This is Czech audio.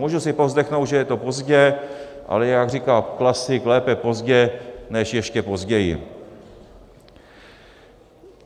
Můžu si povzdechnout, že je to pozdě, ale jak říká klasik, lépe pozdě než ještě později.